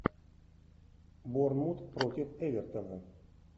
борнмут против эвертона